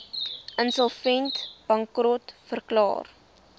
insolvent bankrot verklaar